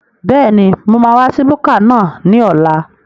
Bẹ́ẹ̀ni, mo máa wá sí búkà náà ní ọ̀la